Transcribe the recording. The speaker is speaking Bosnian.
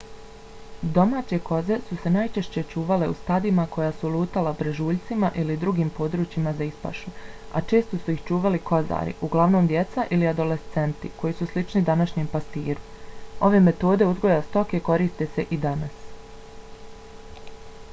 domaće koze su se najčešće čuvale u stadima koja su lutala brežuljcima ili drugim područjima za ispašu a često su ih čuvali kozari uglavnom djeca ili adolescenti koji su slični današnjem pastiru. ove metode uzgoja stoke koriste se i danas